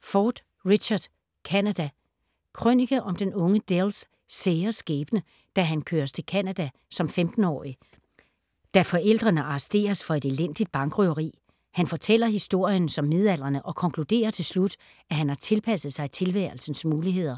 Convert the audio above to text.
Ford, Richard: Canada Krønike om den unge Dells sære skæbne, da han køres til Canada som 15-årig, da forældrene arresteres for et elendigt bankrøveri. Han fortæller historien som midaldrende, og konkluderer til slut, at han har tilpasset sig tilværelsens muligheder.